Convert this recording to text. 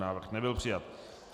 Návrh nebyl přijat.